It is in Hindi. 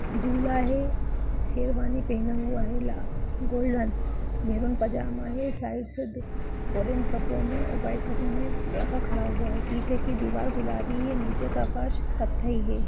दूल्हा है शेरवानी पहना हुआ है गोल्डन मेरून पंजामा है साइड से ओरेंज कपड़ो में और वाइट कपड़ो में लड़का खड़ा हुआ है पीछे की दीवार गुलाबी है नीचे का फर्श कथ्थई है।